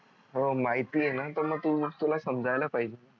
हो माहिती आहे न तर मग तुला समजायला पाहिजे